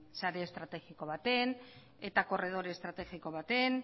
sare estrategiko batean eta korredore estrategiko batean